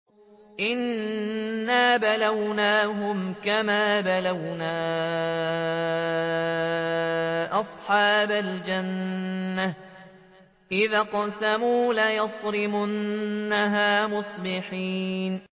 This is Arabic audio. إِنَّا بَلَوْنَاهُمْ كَمَا بَلَوْنَا أَصْحَابَ الْجَنَّةِ إِذْ أَقْسَمُوا لَيَصْرِمُنَّهَا مُصْبِحِينَ